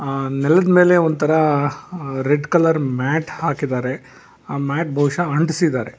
ಆ ನೆಲದ ಮೇಲೆ ಒಂದ್ ತರ ರೆಡ್ ಕಲರ್ ಮ್ಯಾಟ ಹಾಕಿದಾರೆ ಆ ಮ್ಯಾಟ ಬಹುಷಃ ಅಂಟಿಸಿದಾರೆ.